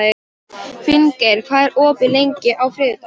Finngeir, hvað er opið lengi á þriðjudaginn?